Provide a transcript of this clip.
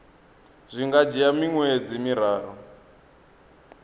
zwi nga dzhia miṅwedzi miraru